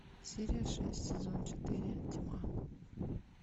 серия шесть сезон четыре тьма